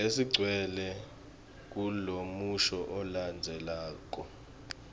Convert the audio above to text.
lesidvwetjelwe kulomusho lolandzelako